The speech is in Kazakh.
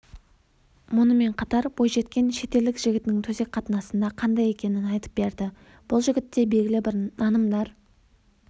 мұнымен қатар бойжеткен шетелдік жігітінің төсек қатынасында қандай екенін айтып берді бұл жігітте белгілі бір нанымдар